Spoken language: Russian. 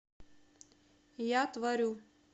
я творю